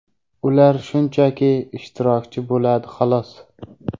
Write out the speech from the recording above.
ular shunchaki ishtirokchi bo‘ladi, xolos.